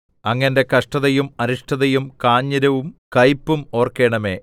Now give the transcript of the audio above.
അങ്ങ് എന്റെ കഷ്ടതയും അരിഷ്ടതയും കാഞ്ഞിരവും കയ്പും ഓർക്കേണമേ